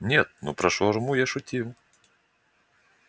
нет ну про шаурму я шутил